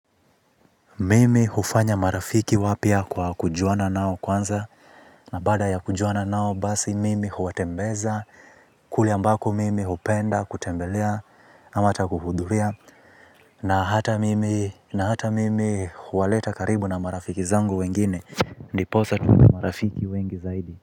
Mimi hufanya marafiki wapya kwa kujuana nao kwanza na baada ya kujuana nao basi mimi huwatembeza kule ambako mimi hupenda kutembelea ama hata kuhudhuria na hata mimi na hata mimi huwaleta karibu na marafiki zangu wengine ndiposa tuunde marafiki wengi zaidi.